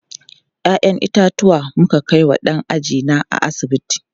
Ya'yan itatuwa muka kai wa ɗan ajina a asibiti.